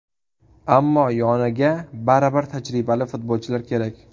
Ammo yoniga baribir tajribali futbolchilar kerak.